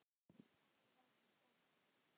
Þannig var hún gerð.